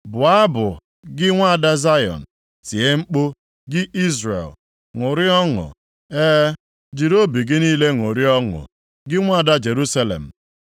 Bụọ abụ, gị nwaada Zayọn; tie mkpu, gị Izrel. Ṅụrịa ọṅụ, e, jiri obi gị niile ṅụrịa ọṅụ, gị nwaada Jerusalem.